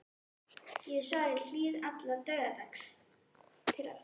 Ég hef svarið hlýðni allt til dauðadags.